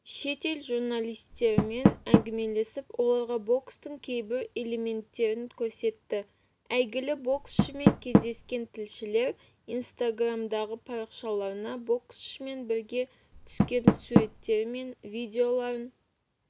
шетел журналистерімен әңгімелесіп оларға бокстың кейбір элементтерін көрсетті әйгілі боксшымен кездескен тілшілер инстаграмдағы парақшаларына боксшымен бірге түскен суреттері мен видеоларын